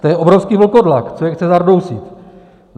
To je obrovský vlkodlak, co je chce zardousit.